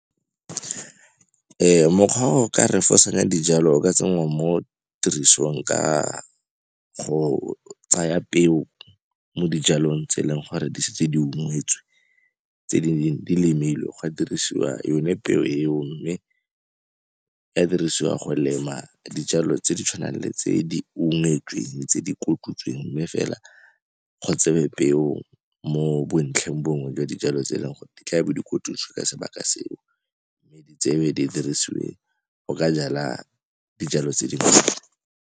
Mokgwa o ka refosanya dijalo o ka tsenngwa mo tirisong ka go tsaya peo mo dijalong tse e leng gore di setse di ungwetswe, tse dingwe di lemilwe go dirisiwa yone peo eo mme e ka dirisiwa go lema dijalo tse di tshwanang le tse di ungetsweng, tse di kotutsweng, mme fela go tsewe peo mo bontlheng bongwe jwa dijalo tse e leng gore di tla bo dikotutswe ka sebaka seo, tseo di dirisiwe go ka jala dijalo tse dingwe.